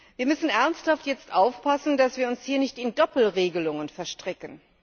Wir müssen jetzt ernsthaft aufpassen, dass wir uns hier nicht in Doppelregelungen verstricken.